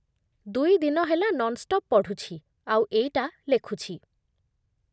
ଦୁଇ ଦିନ ହେଲା ନନ୍‌ଷ୍ଟପ୍ ପଢ଼ୁଛି ଆଉ ଏଇଟା ଲେଖୁଛି ।